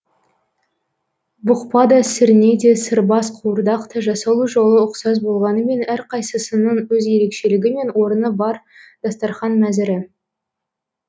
бұқпа да сірне де сырбаз қуырдақ та жасалу жолы ұқсас болғанымен әрқайсысының өз ерекшелігі мен орны бар дастарқан мәзірі